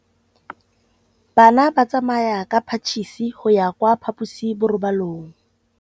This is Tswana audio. Bana ba tsamaya ka phašitshe go ya kwa phaposiborobalong.